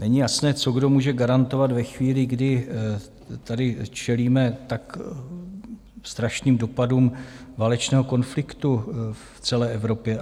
Není jasné, co, kdo může garantovat ve chvíli, kdy tady čelíme tak strašným dopadům válečného konfliktu v celé Evropě.